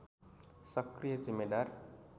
सक्रिय जिम्मेदार